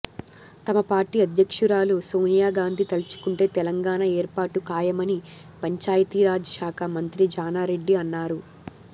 తమ పార్టీ అధ్యక్షురాలు సోనియా గాంధీ తలుచుకుంటే తెలంగాణ ఏర్పాటు ఖాయమని పంచాయతీరాజ్ శాఖ మంత్రి జానా రెడ్డి అన్నారు